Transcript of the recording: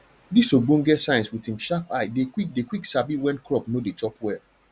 dis ogbonge science wit him sharp eye dey quick dey quick sabi wen crop no dey chop well